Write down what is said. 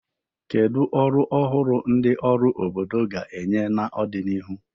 Kedu ọrụ ọhụrụ ndị ọrụ obodo ga-enye n'ọdịnihu?